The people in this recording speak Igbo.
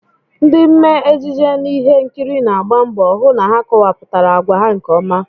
Ndị mmee ejije n'ihe nkiri na-agba mbọ hụ na ha kowapụtara agwa ha nke ọma